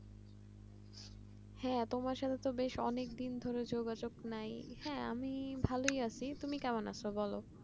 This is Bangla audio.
হ্যাঁ, তোমার সাথে তো বেশ অনেকদিন ধরে যোগাযোগ নেই হ্যাঁ আমি ভালো আছি তুমি কেমন আছো বলো?